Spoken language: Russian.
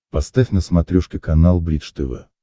поставь на смотрешке канал бридж тв